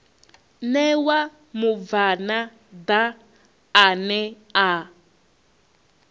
ṋewa mubvann ḓa ane a